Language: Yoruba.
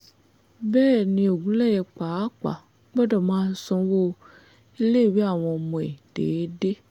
bẹ́ẹ̀ ni ogunléyé pàápàá gbọ́dọ̀ máa sanwó iléèwé àwọn ọmọ ẹ déédé